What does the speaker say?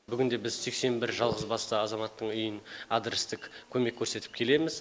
бүгінде біз сексен бір жалғызбасты азаматтың үйін адрестік көмек көрсетіп келеміз